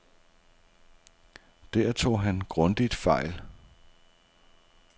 Der tog han grundigt fejl.